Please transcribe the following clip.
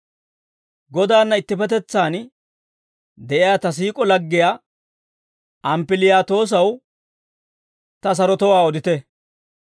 Godaanna ittippetetsaan de'iyaa ta siik'o laggiyaa Amppiliyaatoosaw ta sarotowaa odite.